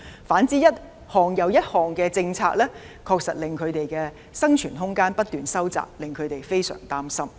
反之，一項又一項的政策，確實令他們的生存空間不斷收窄，令他們非常擔心。